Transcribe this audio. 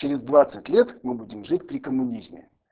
через двадцать лет мы будем жить при коммунизме